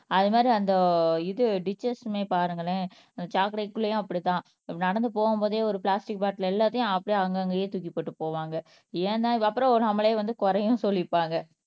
அது மாதிரி அந்த இது டிச்சஸ்மே பாருங்களேன் சாக்கடைக் குள்ளையும் அப்படித்தான் நடந்து போகும்போதே ஒரு பிளாஸ்டிக் பாட்டில் எல்லாத்தையும் அப்படியே அங்கங்கே தூக்கிப் போட்டு போவாங்க ஏன்தான் இது அப்புறம் நம்மளே வந்து குறையும் சொல்லிப்பாங்க